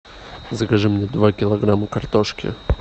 закажи мне два килограмма картошки